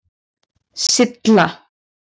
Silla